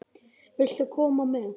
Viltu koma með?